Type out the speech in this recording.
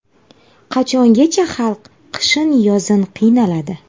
Qachongacha xalq qishin-yozin qiynaladi.